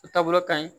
O taabolo ka ɲi